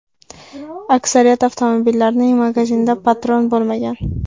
Aksariyat avtomatlarning magazinida patron bo‘lmagan.